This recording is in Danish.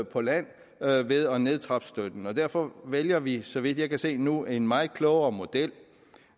på land ved at nedtrappe støtten og derfor vælger vi så vidt jeg kan se nu en meget klogere model